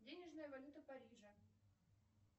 денежная валюта парижа